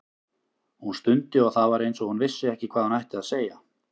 Hún stundi og það var eins og hún vissi ekki hvað hún ætti að segja.